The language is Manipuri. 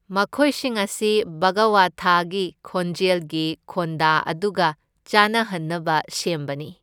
ꯃꯈꯣꯏꯁꯤꯡ ꯑꯁꯤ ꯚꯒꯋꯊꯥꯒꯤ ꯈꯣꯟꯖꯦꯜꯒꯤ ꯈꯣꯟꯗ ꯑꯗꯨꯒ ꯆꯥꯅꯍꯟꯅꯕ ꯁꯦꯝꯕꯅꯤ꯫